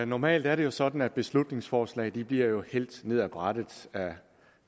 normalt er det jo sådan at beslutningsforslag bliver hældt ned af brættet